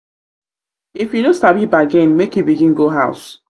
if you no sabi bargain make you begin make you begin go house.